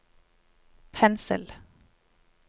pensel